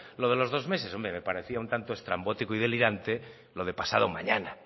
lo de los dos meses hombre me parecía un tanto estrambótico y delirante lo de pasado mañana